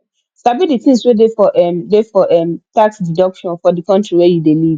sabi the things wey dey for um dey for um inside tax deduction for di country wey you dey live